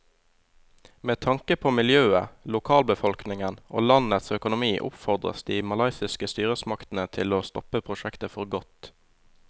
Med tanke på miljøet, lokalbefolkningen og landets økonomi oppfordres de malaysiske styresmaktene til å stoppe prosjektet for godt.